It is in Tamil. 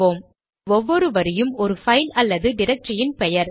இப்போது ஒவ்வொரு வரியும் ஒரு பைல் அல்லது டிரக்டரி இன் பெயர்